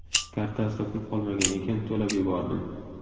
Kartasida pul qolmagan ekan, to‘lab yubordim.